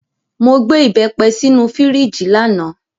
Mo gbé ìbẹ́pẹ sínú fíríjì lánàá.